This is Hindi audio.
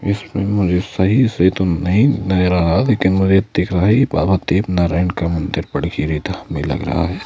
इसमें मुझे सही से तो नहीं नजर आ रहा लेकिन मुझे दिख रहा है ये बाबा देव नारायण का मंदिर बड़गिरी था में लग रहा है।